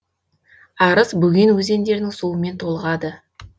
арыс бөген өзендерінің суымен толығады